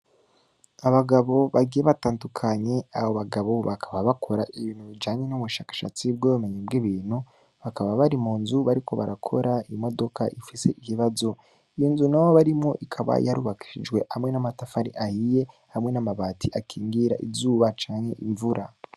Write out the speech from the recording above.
Abagabo bagiye batandukanye, abo bagabo bakaba bakora ibintu bijanye n'ubushakashatsi bw'ubumenyi bw'ibintu, bakaba bari mu nzu bariko barakora imodoka ifise ikibazo. Iyo nzu n'ayo barimwo ikaba yarubakishijwe hamwe n'amatafari ahiye, hamwe n'amabati akingira izuba canke imvura.